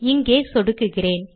இங்கே சொடுக்குகிறேன்